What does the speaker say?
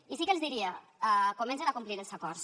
i sí que els diria comencen a complir els acords